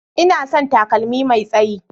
Ina son takalmi Mai tsayi.